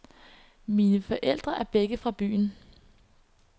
Mine forældre var begge fra byen.